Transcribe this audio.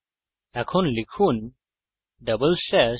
এখন লিখুন double slash // space